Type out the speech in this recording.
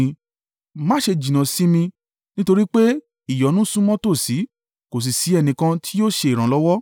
Má ṣe jìnnà sí mi, nítorí pé ìyọnu súnmọ́ tòsí kò sì ṣí ẹnìkan tí yóò ṣe ìrànlọ́wọ́.